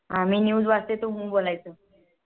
मी News वाचते तू ह्म्म बोलायचं